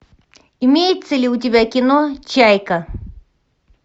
имеется ли у тебя кино чайка